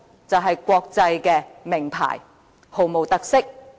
便是國際名牌，毫無特色。